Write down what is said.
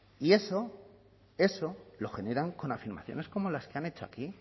y eso lo generan con afirmaciones como las que han hecho aquí